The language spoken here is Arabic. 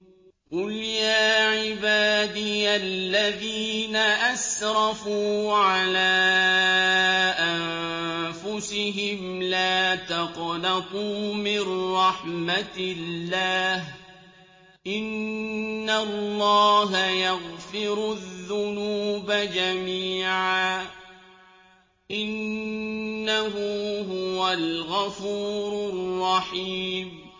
۞ قُلْ يَا عِبَادِيَ الَّذِينَ أَسْرَفُوا عَلَىٰ أَنفُسِهِمْ لَا تَقْنَطُوا مِن رَّحْمَةِ اللَّهِ ۚ إِنَّ اللَّهَ يَغْفِرُ الذُّنُوبَ جَمِيعًا ۚ إِنَّهُ هُوَ الْغَفُورُ الرَّحِيمُ